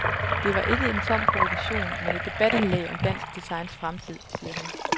Det var ikke en tom provokation, men et debatindlæg om dansk designs fremtid, siger hun.